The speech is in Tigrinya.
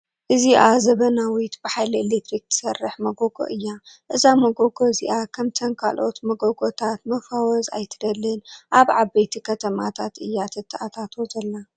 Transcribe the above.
እዚኣ ዘበናዊት ብሓይሊ ኤሌክትሪክ ትሰርሕ መጎጎ እያ፡፡ እዛ መጎጎ እዝኣ ከምተን ካልአት መጎጎታት መፋወዝ ኣይትደልን፡፡ ኣብ ዓበይቲ ከተማታት እያ ትታኣታቶ ዘላ፡፡